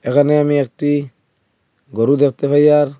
এখানে আমি একটি গরু দেখতে পাই আর।